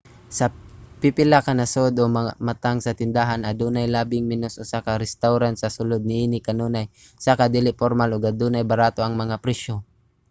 sa pipila ka nasod o mga matang sa tindahan adunay labing menos usa ka restawran sa sulod niini kanunay usa ka dili pormal ug adunay barato ang mga presyo